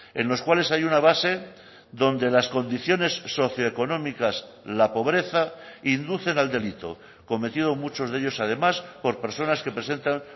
en los cuales hay una base donde las condiciones socioeconómicas la pobreza inducen al delito cometido muchos de ellos además por personas que presentan